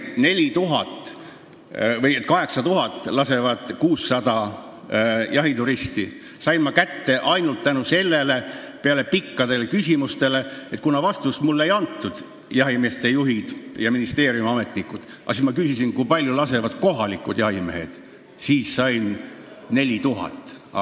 Selle, et 8000 lindu lasevad 600 jahituristi, sain ma kätte ainult nii: peale korduvaid küsimusi, millele ei andnud vastust ei jahimeeste juhid ega ministeeriumi ametnikud, ma küsisin, kui palju lasevad kohalikud jahimehed, ja vastuseks sain 4000.